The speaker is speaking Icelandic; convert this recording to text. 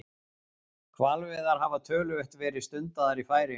Hvalveiðar hafa töluvert verið stundaðar í Færeyjum.